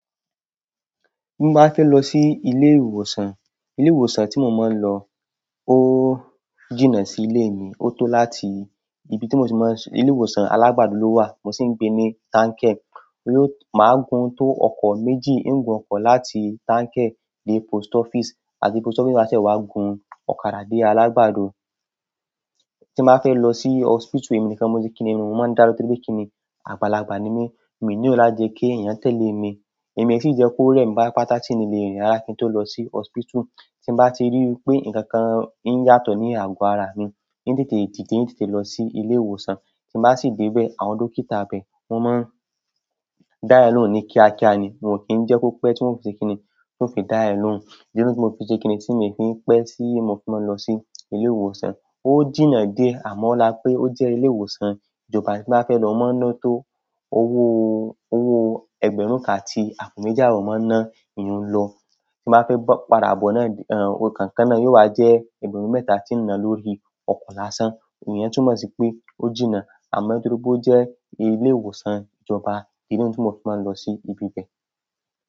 Bí mo bá fẹ́ lọ sí ilé ìwòsàn, ilé ìwòsàn tí mo mọ ń lọ o jìnà sí ilé mi. Ó tó láti ibi tí mo ti mọ, ilé ìwòsàn Alagbado ló wà. Mo sì ń gbé ní Tanke. Yóò, má gun tó ọkọ̀ méjì, ń gun ọkọ̀ láti Tanke dé post office àti post office má ṣe wá gun ọ̀kadà dé Alagbado. Tí mo fẹ́ lọ sí hospital, èmi nìkan mo ti kíni mún, mo má dalo torípé kíni àgbàlagbà ni mi, mi ni o la jẹ kí èyàn tẹle mi. Èmi esii jẹ kó rẹ mi bá patata tí mi ń lè rìn rárá, kí n tó lọ sí hospital. Tí bá ti rí wípé nkankan ń yàtọ̀ ní ago ara mi, ń tètè, dìde ń tètè lọ sí ilé ìwòsàn. Tí bá sì dé bẹ̀, àwọn dókítà bẹ̀, wọ́n má dára lóun ní kíákíá ni. Wọ́n kì n jẹ kó pe tí wọ́n fi ṣe kíni, tí wọ́n fi dáyà loun. Irú tí mo fi ṣe kíni tí mi fi ń pe tí mo fi má lọ sí ilé ìwòsàn. Ó jìnà dé amọla pé ó jẹ ilé ìwòsàn ìjọba tí bá fẹ́ lọ, a ó má ń lọ tó owó, owó ẹgbẹ̀rún kan àti àpò méjì abọ mo man na iyùn lọ. Tí bá fẹ́ bọ pa da bọ na, o kankan na yóò wá jẹ ẹgbẹ̀rún mẹ́ta tí ń na lórí ọkọ lásán. Ìyẹn tún mọ sipẹ ó jìnà, amọ torípé ó jẹ ilé ìwòsàn ìjọba, iyùn tún mọ ti má lọ sí ibi bẹ.